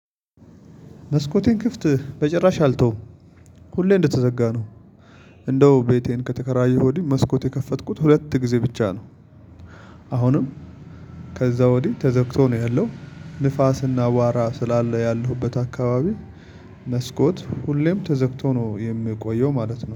መስኮቴን ክፍት በጭራሽ አልተውም። ሁሌ እንደተዘጋ ነው። እንደው ቤቴን ከተከራየ ወድይ መስኮት የከፈትኩት ሁለት ጊዜ ብቻ ነው። አሁንም ከዛ ወዲህ ተዘግቶ ነው ያለው ንፋስና አዋራ ስላለ ያለሁበት አካባቢ መስኮት ሁሌም ተዘግቶ ነው የሚቆየው ማለት ነው።